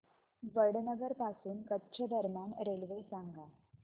वडनगर पासून कच्छ दरम्यान रेल्वे सांगा